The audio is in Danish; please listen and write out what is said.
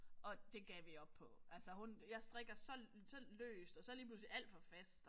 Og det gav vi op på. Altså hun jeg jeg strikker så så løst og så lige pludselig alt for fast og